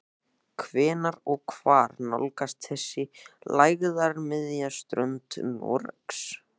Hvenær og hvar nálgast þessi lægðarmiðja strönd Noregs?